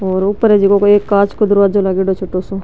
और ऊपर है झको कोई कांच का दरवाजा लागेड़ो है छोटो सो।